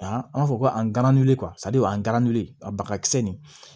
A an b'a fɔ ko an gana nu an gana wuli a bagakisɛ nin